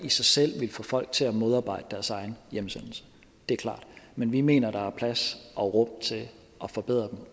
i sig selv vil få folk til at modarbejde deres egen hjemsendelse det er klart men vi mener at der er plads og rum til at forbedre dem